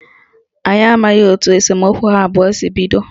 Anyị amaghị etu esemokwu ha abụọ si bido